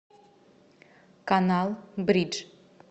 канал бридж